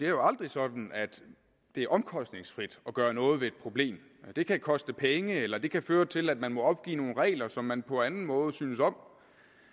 er aldrig sådan at det er omkostningsfrit at gøre noget ved et problem det kan koste penge eller det kan føre til at man må opgive nogle regler som man på anden måde synes om